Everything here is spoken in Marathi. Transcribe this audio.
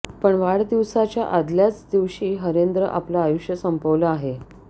पण वाढदिवसाच्या आदल्याच दिवशी हरेंद्र आपलं आयुष्य संपवलं आहे